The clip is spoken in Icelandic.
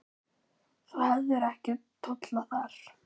Þú hefðir ekki tollað þar.